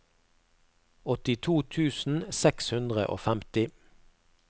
åttito tusen seks hundre og femti